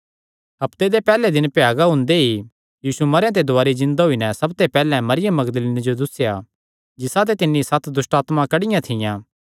हफ्ते दे पैहल्ले दिन भ्यागा हुंदे ई यीशु मरेयां ते दुवारी जिन्दा होई नैं सबते पैहल्ले मरियम मगदलीनी जो दुस्सेया पैहल्ले जिसाते तिन्नी सत दुष्टआत्मां कड्डियां थियां